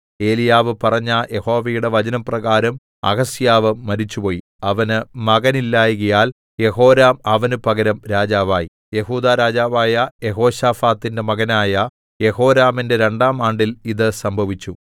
ഏലീയാവ് പറഞ്ഞ യഹോവയുടെ വചനപ്രകാരം അഹസ്യാവ് മരിച്ചുപോയി അവന് മകനില്ലായ്കയാൽ യെഹോരാം അവനു പകരം രാജാവായി യെഹൂദാ രാജാവായ യെഹോശാഫാത്തിന്റെ മകനായ യെഹോരാമിന്റെ രണ്ടാം ആണ്ടിൽ ഇത് സംഭവിച്ചു